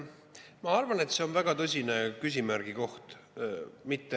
Ma arvan, et see on väga tõsine küsimärgi koht.